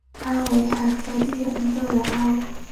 aaway xafladii cuntada ee caawa